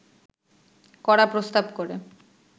করা প্রস্তাব করে